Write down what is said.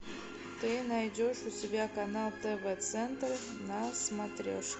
ты найдешь у себя канал тв центр на смотрешке